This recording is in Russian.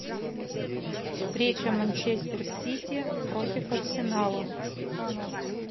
встреча манчестер сити против арсенала